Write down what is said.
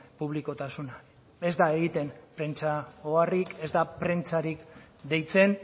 publikotasuna ez da egiten prentsa oharrik ez da prentsarik deitzen